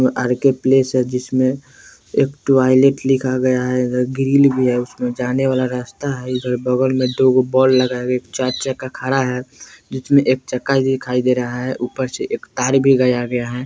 R K. Palace जिसमें में एक टोईलेट लिखा गया है इधर ग्रिल भी है उसमे जाने वाला रास्ता है इधर बगल में दो जो वॉल खरा है बिच में एक दिखाई दे रहा है ऊपर से एक तार भी गया गया है।